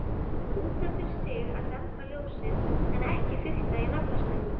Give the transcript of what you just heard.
Út af fyrir sig að dempa ljósin, en ekki fikta í naflastrengnum.